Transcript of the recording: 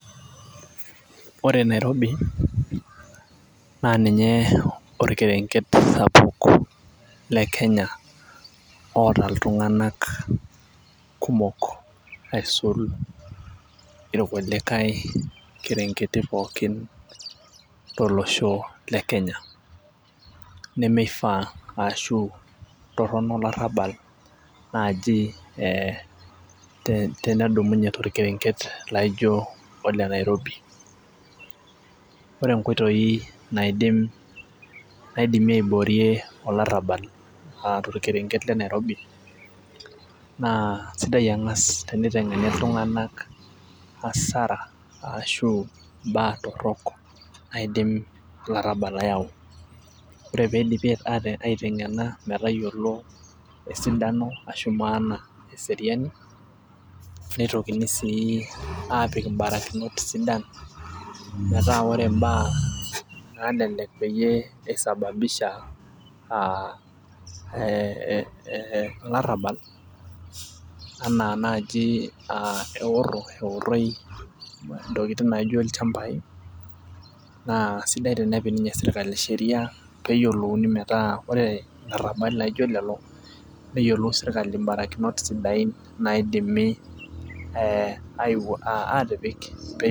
Ore Nairobi naa ninye orkerenket sapuk oota iltunganak kumok. aisul irkulikae kerenketi pookin tolosho le Kenya nemeifaa ashu Toronto olarabal naaji tenedumunye torkerenket laijo ole nairobi. ore nkoitoi naidimi aiboorie olarabal aa torkerenket le Nairobi naa sidai angas tenitengeni iltunganak asara ashu imbaa torok naidim olarabal ayau. ore pee idipi aitengena netayiolo esidano ashu maana eseriani. nitokini sii aapik mbarakinot sidan, metaa ore mbaya naalelek peyie isababisha aa ee olarabal anaa naaji eoro, eoroi intokitin naijo ilchampai naa sidai tenepik ninye sirkali Sheria pee eyiolouni metaa ore larabali laijo lelo neyiolou sirkali barakinot sidain naidimi aa aatipik pee.